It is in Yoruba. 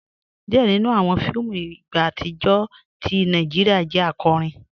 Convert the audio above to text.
Díẹ̀ nínú awọn fíìmù Ìgbò atijọ́ tì Nàìjíríà jẹ́ àkọ́rín.